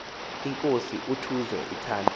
inkosi utuze ithandwe